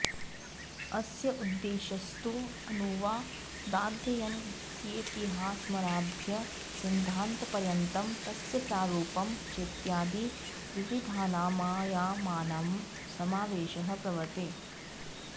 अस्य उद्देश्यस्तु अनुवादाध्ययनस्येतिहासमारभ्य सिद्धान्तपर्यन्तं तस्य प्रारूपं चेत्यादि विविधानामायामानां समावेशः वर्तते